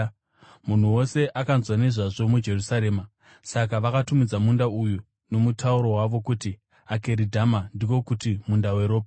Munhu wose akanzwa nezvazvo muJerusarema, saka vakatumidza munda uya nomutauro wavo kuti Akeridhama, ndiko kuti, Munda weRopa.)